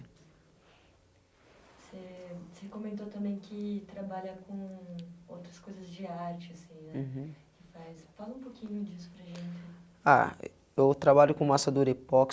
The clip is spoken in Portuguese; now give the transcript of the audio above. Você, você comentou também que trabalha com outras coisas de arte, assim, né, uhum que faz? fala um pouquinho disso para gente. Ah eu trabalho com massa durepoxi